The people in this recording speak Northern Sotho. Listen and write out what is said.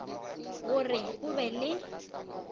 go re o be le